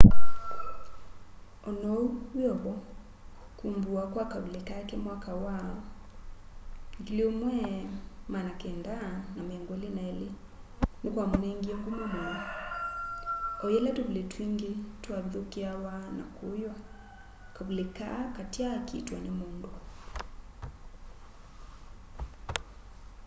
onou wiovo kuvumbuwa kwa kavuli kake mwaka wa 1922 ni kwamunengie nguma muno o yila tuvuli twingi twavithukiawa na kuywa kavuli kaa katyaakiitwa ni mundu